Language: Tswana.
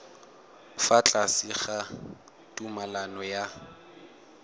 fa tlase ga tumalano ya